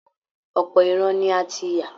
Ọ̀pọ̀ ìran ni a ti yà